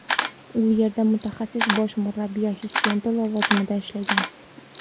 U yerda mutaxassis bosh murabbiy assistenti lavozimida ishlagan.